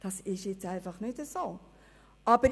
Das ist einfach nicht wahr!